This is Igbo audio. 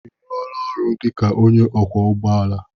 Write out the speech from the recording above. I ruola ọrụ dị ka onye ọkwọ ụgbọala?